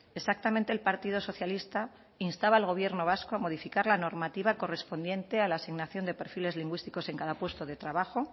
exactamente el partido socialista instaba al gobierno vasco a modificar la normativa correspondiente a la asignación de perfiles lingüísticos en cada puesto de trabajo